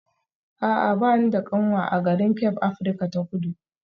A'a ba ni da kanwa a garin Cape Afirka ta Kudu